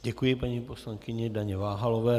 Děkuji paní poslankyni Daně Váhalové.